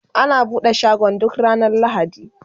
ana buɗe shagon ga ranar lahadi